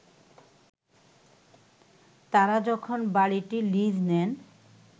তারা যখন বাড়িটি লিজ নেন